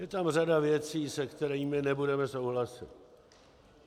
Je tam řada věcí, se kterými nebudeme souhlasit.